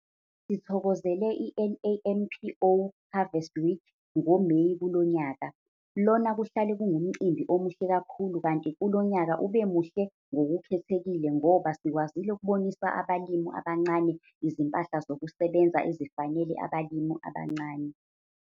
Sithokozele i-NAMPO Harvest Week ngoMeyi kulo nyaka. Lona kuhlale kungumcimbi omuhle kakhulu kanti kulo nyaka ube muhle ngokukhethekile ngoba sikwazile ukubonisa abalimi abancane izimpahla zokusebenza ezifanele abalimi abancane.